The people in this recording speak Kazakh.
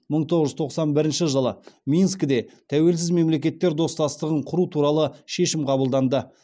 мың тоғыз жүз тоқсан бірінші жылы минскіде тәуелсіз мемлекеттер достастығың құру туралы шешім қабылданды